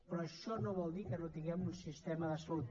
però això no vol dir que no tinguem un sistema de salut